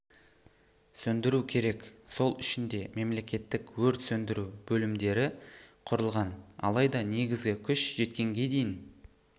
сөндіру керек сол үшін де мемлекеттік өрт сөндіру бөлімдері құрылған алайда негізгі күш жеткенге дейін